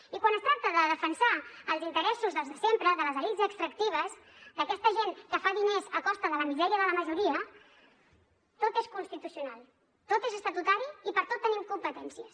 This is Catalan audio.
i quan es tracta de defensar els interessos dels de sempre de les elits extractives d’aquesta gent que fa diners a costa de la misèria de la majoria tot és constitucional tot és estatutari i per a tot tenim competències